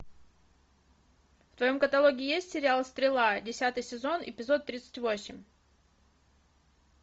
в твоем каталоге есть сериал стрела десятый сезон эпизод тридцать восемь